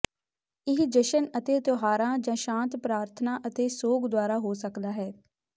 ਇਹ ਜਸ਼ਨ ਅਤੇ ਤਿਉਹਾਰਾਂ ਜਾਂ ਸ਼ਾਂਤ ਪ੍ਰਾਰਥਨਾ ਅਤੇ ਸੋਗ ਦੁਆਰਾ ਹੋ ਸਕਦਾ ਹੈ